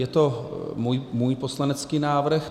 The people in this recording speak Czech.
Je to můj poslanecký návrh.